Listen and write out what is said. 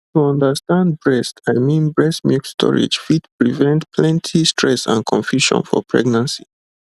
to understand breast i mean milk storage fit prevent plenty stress and confusion for pregnancy